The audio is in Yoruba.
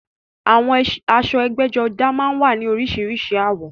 Àwọn aṣọ ẹgbẹ́jọdá máa ń wá ní oríṣiríṣi àwọ̀